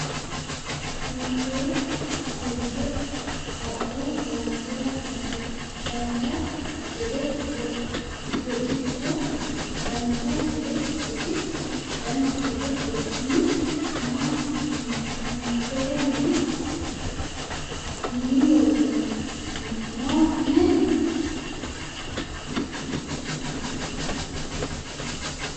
Hiitee atoobisee adho Hawasirra ha'rate? Dancha gede goxito? Dancha gede goxita? Dancha gede gooxini? Maa asitini timiirteetee mine? minii-los noheni?